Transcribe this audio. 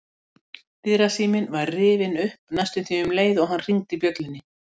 Dyrasíminn var rifinn upp næstum um leið og hann hringdi bjöllunni.